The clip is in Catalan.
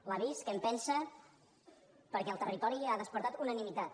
l’ha vist què en pensa perquè al territori ha despertat unanimitat